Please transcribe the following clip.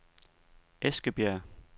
Eskebjerg